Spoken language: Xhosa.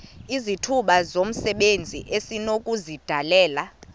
izithuba zomsebenzi esinokuzidalela